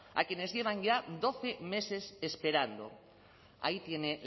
a quienes llevan ya doce meses esperando ahí tiene